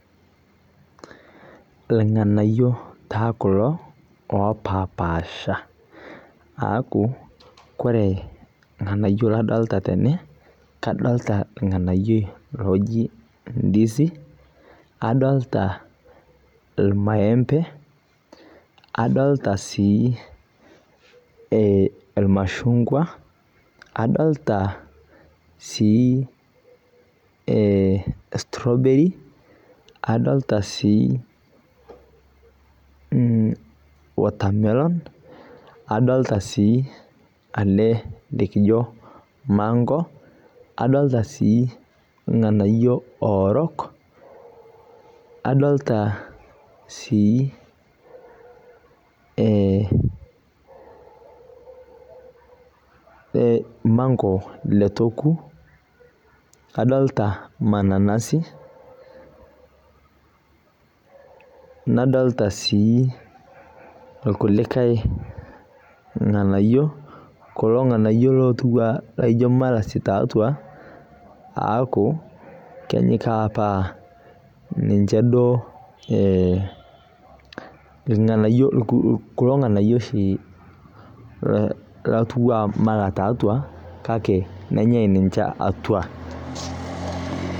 Ilng'anayio taa kulo lopaapaasha. Aaku kore ilng'anayio ladolta tene kadolita ilng'anayioi loji  ndisi, adolita ilmaembe, adolita sii eh ilmashungwa, adolita sii eh strawberry, adolita sii mmh watermelon adolita sii ele likijo mango adolita sii ilng'anayio oorok. Adolita sii eh mango leitu eoku adolita mananasi, nadolita sii ilkulikae ng'anayio kulo ng'anayio lotiu aa lajo malasi tatua, aaku keji taa apa ninche duo eh ilng'anayio kulo ng'anayio oshi lotiu aa mala tatua kake nenyai ninche atua.